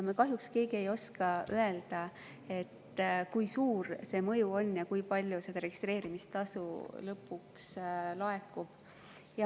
Me kahjuks keegi ei oska öelda, kui suur see mõju on ja kui palju registreerimistasu lõpuks laekub.